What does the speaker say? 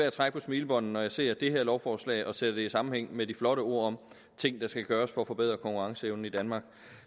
at trække på smilebåndet når jeg ser det her lovforslag og sætter det i sammenhæng med de flotte ord om ting der skal gøres for at forbedre konkurrenceevnen i danmark